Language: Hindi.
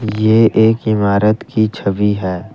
ये एक इमारत की छवि है।